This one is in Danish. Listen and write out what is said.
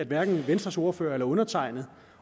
hverken venstres ordfører eller undertegnede